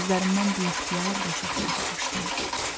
Gözlərimdən biixtiyar yaş axmağa başlayır.